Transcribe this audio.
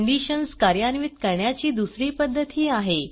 conditions कार्यान्वित करण्याची दुसरी पध्दतही आहे